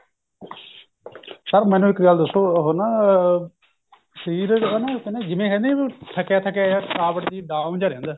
sir ਮੈਨੂੰ ਇੱਕ ਗੱਲ ਦਸੋ ਉਹ ਨਾ ਸ਼ਰੀਰ ਨਾ ਇੱਕ ਜਿਵੇਂ ਹੈਂ ਨੀ ਥੱਕਿਆ ਥੱਕਿਆ ਜਾ ਥਕਾਵਟ ਜੀ down ਜਾ ਰਹਿੰਦਾ